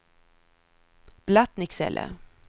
Blattnicksele